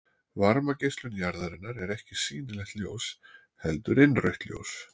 Varmageislun jarðarinnar er ekki sýnilegt ljós heldur innrautt ljós.